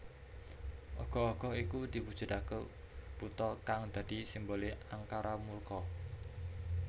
Ogoh ogoh iki diwujudake buta kang dadi simbole angkara murka